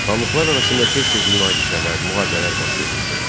Xanlıqlar arasında tez-tez münaqişələr, müharibələr baş verirdi.